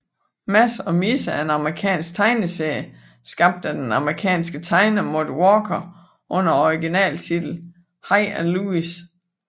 Mads og Misse er en amerikansk tegneserie skabt af den amerikanske tegner Mort Walker under originaltitlen Hi and Lois